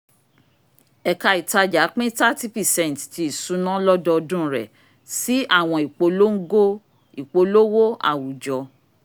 ẹka ìtàjà pin 30 percent ti isuna lọdọdun rẹ si awọn ìpolongo ìpolówó awujọ